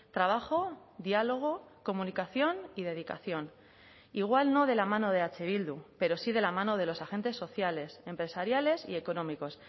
trabajo diálogo comunicación y dedicación igual no de la mano de eh bildu pero sí de la mano de los agentes sociales empresariales y económicos